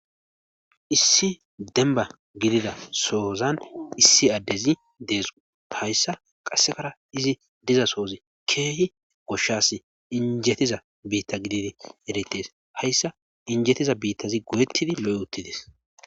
issi denba gidida soozan issi addezi deesu payssa qassekara izi diza soozi keehi goshshas injetiza biitta gididi eretes hayssa injetiza biittazi goyettidi lo7e uttides